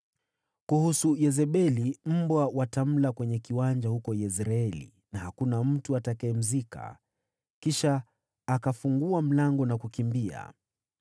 Kuhusu Yezebeli, mbwa watamla kwenye kiwanja huko Yezreeli, wala hakuna mtu atakayemzika.’ ” Kisha akafungua mlango na kukimbia.